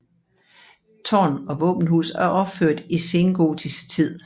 Tårn og våbenhus er opført i sengotisk tid